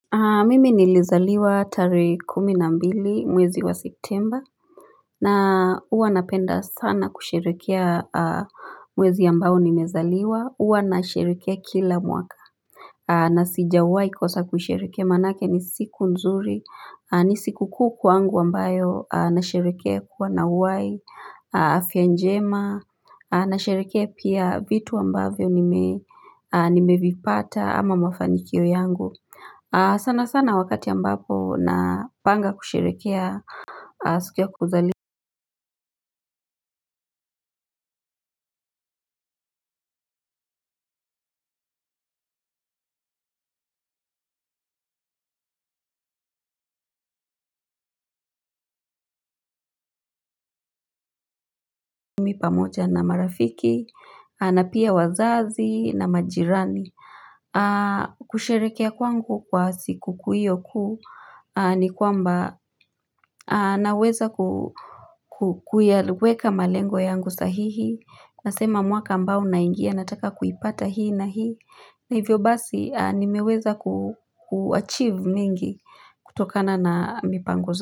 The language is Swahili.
Mimi nilizaliwa tarehe kuminambili mwezi wa septemba na huwa napenda sana kusherehekea mwezi ambao nimezaliwa huwa nasherehekea kila mwaka. Na sijawahi kosa kusherehekea maanake ni siku nzuri ni siku kukuu kwangu ambayo nasherehekea kuwa nauhai afyanjema nasherehekea pia vitu ambavyo nimevipata ama mafanikio yangu. Sana sana wakati ambapo na panga kusherehekea sikuya kuzaliwa pamoja na marafiki, na pia wazazi na majirani. Kusherehekea kwangu kwa siku kuhiyo kuu ni kwamba na weza kuiweka malengo yangu sahihi. Nasema mwaka ambao na ingia, nataka kuipata hii na hii. Na hivyo basi, nimeweza kuachieve mingi kutokana na mipangoza.